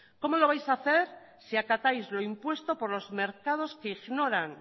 cómo lo vais hacer si acatáis lo impuesto por los mercados que ignoran